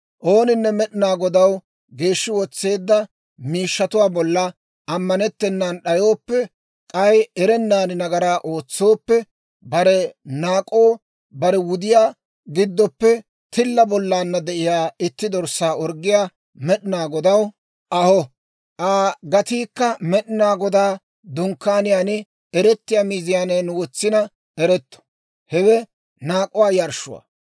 «Ooninne Med'inaa Godaw geeshshi wotseedda miishshatuwaa bolla ammanettenan d'ayooppe k'ay erennan nagaraa ootsooppe, bare naak'oo bare wudiyaa giddoppe tilla bollaanna de'iyaa itti dorssaa orggiyaa Med'inaa Godaw aho. Aa gatiikka Med'inaa Godaa Dunkkaaniyaan eretiyaa miizaanan wotsina eretto; hewe naak'uwaa yarshshuwaa.